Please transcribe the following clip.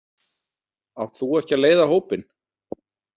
Átt þú ekki að leiða hópinn?